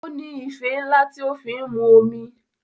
O ní ife ńlá tí o fi ń mu omi.